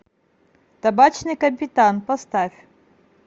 табачный капитан поставь